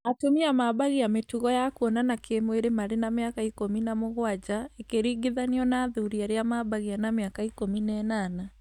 Atumia mambagia mĩtugo ya kwonana kĩmwĩrĩ marĩ na mĩaka ikũmi na mũgwanja ĩkĩringithanio na athuri arĩa mambagia na mĩaka ikũmi na ĩnana